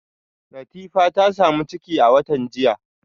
Latifa ta samu ciki a watan jiya